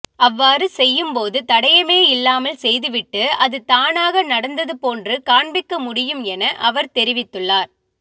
அவ்வாறு செய்யும்போது தடயமே இல்லாமல் செய்துவிட்டு அது தானாக நடந்தது போன்று காண்பிக்க முடியும் என அவர் தெரிவித்து உள்ளார்